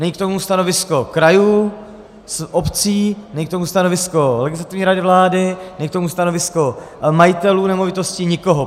Není k tomu stanovisko krajů, obcí, není k tomu stanovisko Legislativní rady vlády, není k tomu stanovisko majitelů nemovitostí, nikoho.